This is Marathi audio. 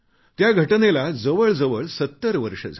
त्या घटनेला जवळजवळ 70 वर्षं झाली